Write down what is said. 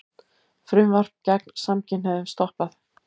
Frumvarp gegn samkynhneigðum stoppað